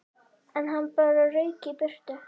En hann bara rauk í burtu.